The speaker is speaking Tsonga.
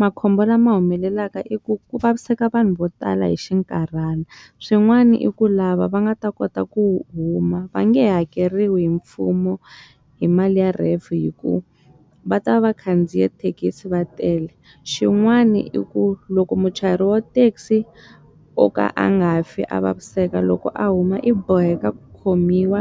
Makhombo lama humelelaka i ku ku vaviseka vanhu vo tala hi xinkarhana swin'wana i ku lava va nga ta kota ku huma va nge hakeriwi hi mfumo hi mali ya R_A_F hi ku va ta vakhandziya thekisi va tele xin'wani i ku loko muchayeri wa thekisi o ka a nga fi a vaviseka loko a huma i boheka ku khomiwa